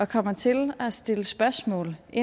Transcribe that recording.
kommer til at stille spørgsmål i